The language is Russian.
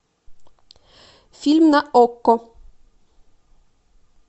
фильм на окко